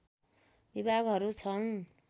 विभागहरू छन्